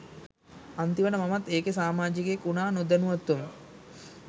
අන්තිමට මමත් ඒකෙ සාමාජිකයෙක් උනා නොදැනුවත්වම.